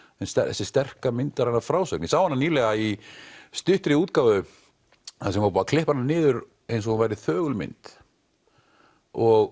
þessi sterka myndræna frásögn ég sá hana nýlega í stuttri útgáfu þar sem var búið að klippa hana niður eins og hún væri þögul mynd og